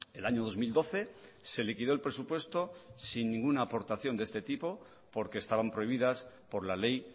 el año dos mil doce se liquidó el presupuesto sin ninguna aportación de este tipo porque estaban prohibidas por la ley